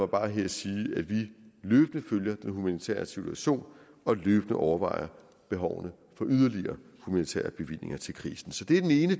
bare her sige at vi løbende følger den humanitære situation og løbende overvejer behovene for yderligere humanitære bevillinger til krisen så det er den ene